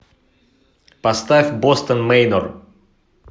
поставь бостон мэйнор